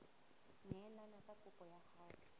neelane ka kopo ya hao